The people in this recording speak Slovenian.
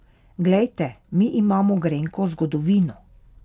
Glejte, mi imamo grenko zgodovino.